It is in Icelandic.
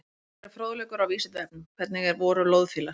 Frekari fróðleikur á Vísindavefnum: Hvernig voru loðfílar?